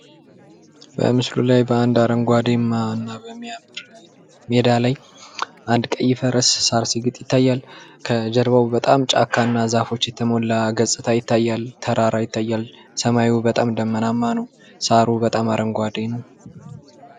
በምስሉ ላይ በአንድ አረንጓዴአማ እና በሚያር ሜዳ ላይ አንድ ቀይ ፈረስ ሳር ሲግጥ ይታያል። ከጀርባው በጣም ጫካ እና ዛፎች የተሞላ ገጽታው ይታያል ተራራ ይታያል። ሰማዩ በጣም ደመናማ ነው። ሣሩ በጣም አረንጓዴ ነው።